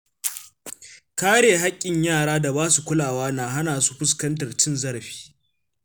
Kare haƙƙin yara da basu kulawa na hana su fuskantar cin zarafi.